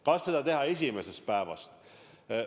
Kas seda teha esimesest päevast?